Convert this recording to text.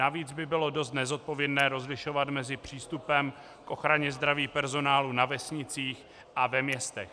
Navíc by bylo dost nezodpovědné rozlišovat mezi přístupem k ochraně zdraví personálu na vesnicích a ve městech.